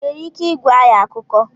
Ị nwere ike ịgwa anyị akụkọ?